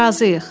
Razıyıq.